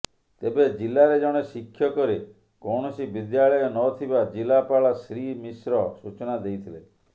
ତେବେ ଜିଲାରେ ଜଣେ ଶିକ୍ଷକରେ କୌଣସି ବିଦ୍ୟାଳୟ ନଥିବା ଜିଲାପାଳ ଶ୍ରୀମିଶ୍ର ସୂଚନା ଦେଇଥିଲେ